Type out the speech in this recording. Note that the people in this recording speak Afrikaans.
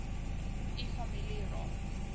u familie raak